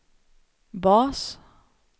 bas